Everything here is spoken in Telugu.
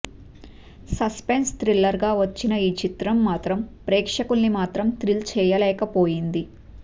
సస్పెన్స్ థిల్లర్ గా వచ్చిన ఈ చిత్రం మాత్రం ప్రేక్షకులని మాత్రం థ్రిల్ చెయ్యలేకపోయింది